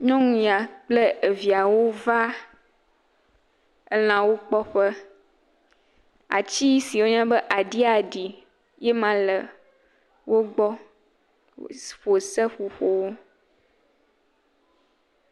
Nyɔnu ya kple eviawo va elãwo kpɔ ƒe. Atsi si woyɔna be adiadi ye ma le wogbɔ ƒo seƒoƒowo.